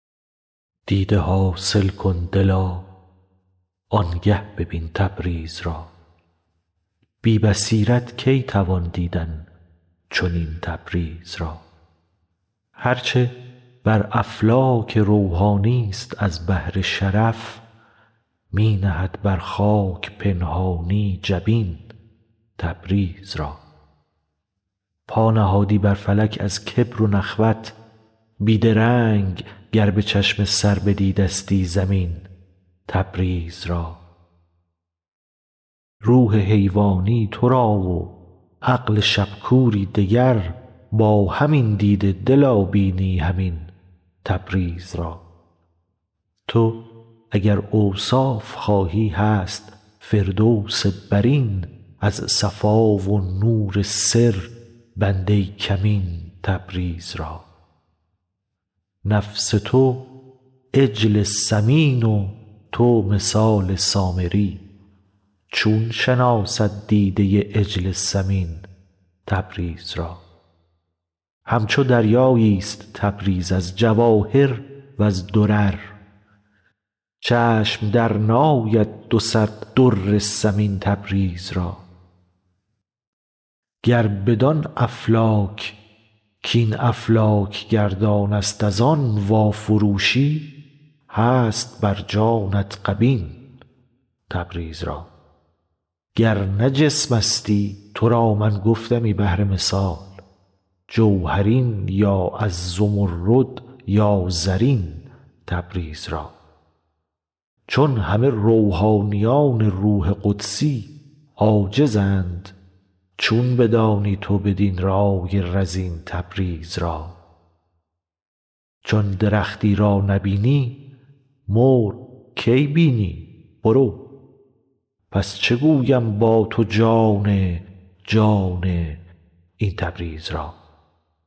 دیده حاصل کن دلا آن گه ببین تبریز را بی بصیرت کی توان دیدن چنین تبریز را هر چه بر افلاک روحانی ست از بهر شرف می نهد بر خاک پنهانی جبین تبریز را پا نهادی بر فلک از کبر و نخوت بی درنگ گر به چشم سر بدیدستی زمین تبریز را روح حیوانی تو را و عقل شب کوری دگر با همین دیده دلا بینی همین تبریز را تو اگر اوصاف خواهی هست فردوس برین از صفا و نور سر بنده کمین تبریز را نفس تو عجل سمین و تو مثال سامری چون شناسد دیده عجل سمین تبریز را همچو دریایی ست تبریز از جواهر و ز درر چشم درنآید دو صد در ثمین تبریز را گر بدان افلاک کاین افلاک گردان ست از آن وافروشی هست بر جانت غبین تبریز را گر نه جسمستی تو را من گفتمی بهر مثال جوهرین یا از زمرد یا زرین تبریز را چون همه روحانیون روح قدسی عاجزند چون بدانی تو بدین رای رزین تبریز را چون درختی را نبینی مرغ کی بینی برو پس چه گویم با تو جان جان این تبریز را